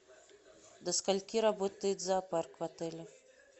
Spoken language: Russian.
до скольки работает зоопарк в отеле